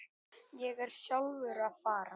Ég er sjálfur að fara.